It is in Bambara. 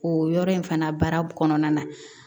O yɔrɔ in fana baara kɔnɔna na